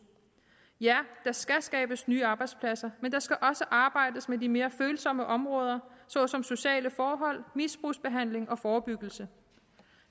ja der skal skabes nye arbejdspladser men der skal også arbejdes med de mere følsomme områder såsom sociale forhold misbrugsbehandling og forebyggelse